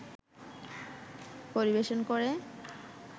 পরিবেশন করে